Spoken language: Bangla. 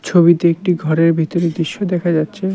ছবিতে একটি ঘরের ভিতরের দৃশ্য দেখা যাচ্ছে।